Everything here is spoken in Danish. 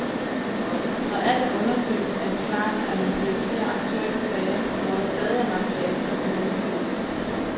Når alt er undersøgt, er det klart, at man prioriterer aktuelle sager, hvor der stadig er materiale, der skal undersøges.